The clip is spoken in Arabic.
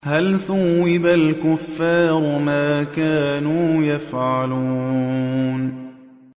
هَلْ ثُوِّبَ الْكُفَّارُ مَا كَانُوا يَفْعَلُونَ